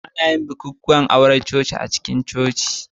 Ana yin bukukuwan aure na coci a cikin Coci.